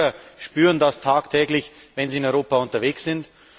Die Bürger spüren das tagtäglich, wenn sie in Europa unterwegs sind.